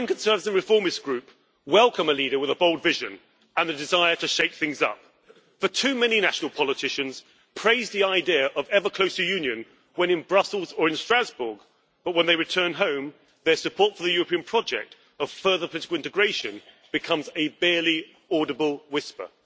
The European Conservatives and Reformists Group welcomes a leader with a bold vision and a desire to shake things up, for too many national politicians praise the idea of ever closer union when in Brussels or in Strasbourg, but when they return home their support for the European project of further political integration becomes a barely audible whisper.